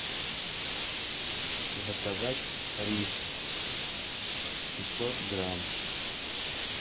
заказать рис пятьсот грамм